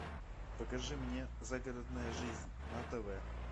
покажи мне загородная жизнь на тв